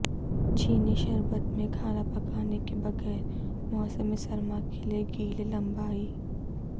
چینی شربت میں کھانا پکانے کے بغیر موسم سرما کے لئے گیلے لمبائی